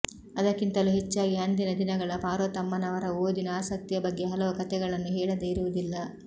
ಅದಕ್ಕಿಂತಲೂ ಹೆಚ್ಚಾಗಿ ಅಂದಿನ ದಿನಗಳ ಪಾರ್ವತಮ್ಮನವರ ಓದಿನ ಆಸಕ್ತಿಯ ಬಗ್ಗೆ ಹಲವು ಕತೆಗಳನ್ನು ಹೇಳದೆ ಇರುವುದಿಲ್ಲ